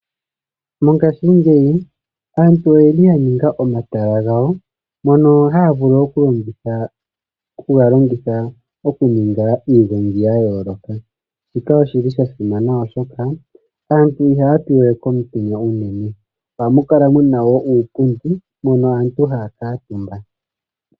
Mongashingeyi aantu oyeli ya ninga omatala mola haya vulu okuningila mo iigongi ya yooloka shika oshili sha simana oshoka aantu ihaya pi we komitenya uunene ohamu kala wo muna iipundi mono aantu haya kaatumba .